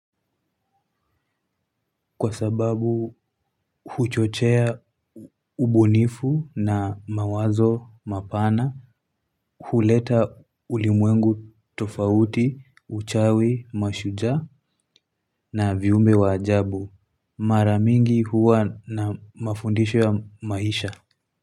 Kwa sababu huchochea ubunifu na mawazo mapana, huleta ulimwengu tofauti, uchawi, mashujaa na viumbe wa ajabu. Mara mingi huwa na mafundisho ya maisha.